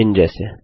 इन जैसे